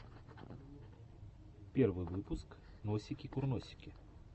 первый выпуск носики курносики